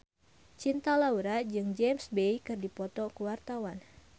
Cinta Laura jeung James Bay keur dipoto ku wartawan